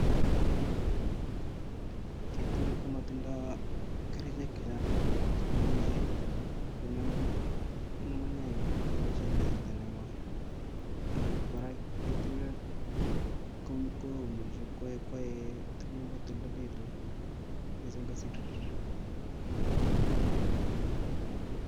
Keturek komotindo kerichek chechang cheimuchi kong'em ng'ung'unyek ng'iboishen en kasarta nekoii ak kora keturek komuche koyai tukuk ko toldolekitu mising kosir kotoldoloik.